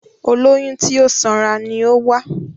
Olóyún tí ó sanra ni ó wá